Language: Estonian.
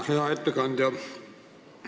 Hea ettekandja!